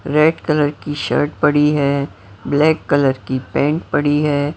Red colour की shirt पड़ी है ब्लॅक कलर की पँट पड़ी है।